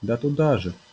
да туда же